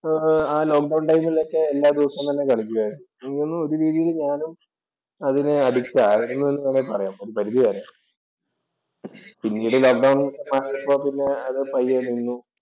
ആ lockdown‍ ടൈമില്‍ തന്നെ എല്ലാ ദിവസവും തന്നെ കളിക്കുമായിരുന്നു. അങ്ങനെ ഒരു രീതിയിൽ ഞാനും അതിന് അഡിക്റ്റ് ആയിരുന്നു എന്നു വേണമെങ്കിൽ പറയാം. ഒരു പരിധിവരെ പിന്നീട് ലോക്ക് ഡൌണ്‍ മാറിയപ്പോൾ അത് പയ്യെ നിന്നു.